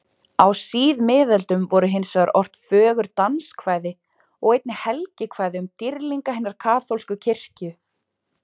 Á síðmiðöldum voru hinsvegar ort fögur danskvæði og einnig helgikvæði um dýrlinga hinnar kaþólsku kirkju.